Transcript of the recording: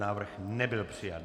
Návrh nebyl přijat.